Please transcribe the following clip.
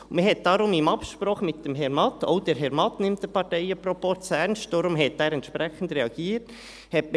Man hat deshalb, in Absprache mit Herrn Matt – auch Herr Matt nimmt den Parteienproporz ernst, deshalb hat er entsprechend reagiert ...